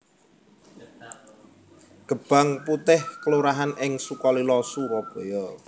Gebang Putih kelurahan ing Sukalila Surabaya